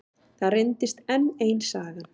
Það reyndist enn ein sagan.